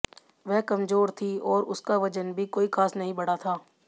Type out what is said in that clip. वह कमज़ोर थी और उसका वज़न भी कोई खास नहीं बढ़ा था